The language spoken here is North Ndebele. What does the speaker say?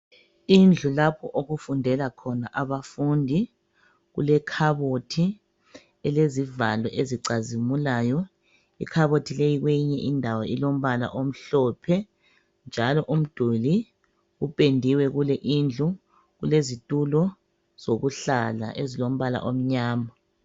Indlu lapho okufundela khona abafundi ilekhabothi elezivalo ezicazimulayo, ikhabothi le kweyinye indawo kulembala emhlophe njalo umduli, upendiwe kule indlu kulezitulo zokuhlala ezilombala omnyama.